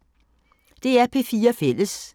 DR P4 Fælles